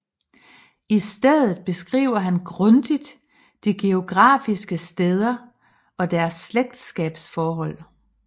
I stedet beskriver han grundigt de geografiske steder og deres slægtsskabsforhold